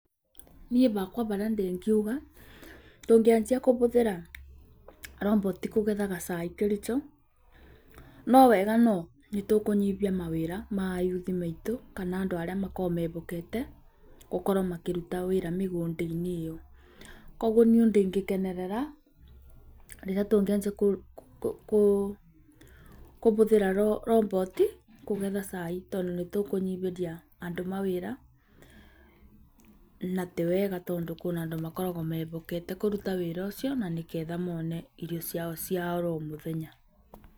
Niĩ hakwa ũrĩa ingiuga, ndingĩanja kũhũthĩra robots kũgethaga cai Kericho.No wega no, nĩtũkũkũnyihia mawĩra ma a youth aitũ kana andũ arĩa makoragwo mehokete gũkorwo makĩruta wĩra mĩgũnda-inĩ ĩyo. Kogwo niĩ ndingĩkenerera rĩrĩa tũngĩanjia kũhũthĩra robots kũgetha cai tondũ nĩtũkũnyihĩria andũ mawĩra na tiwega tondũ kwĩna andũ makoragwo mehokete kũruta wĩra ũcio na nĩgetha mone irio ciao cia o mũthenya.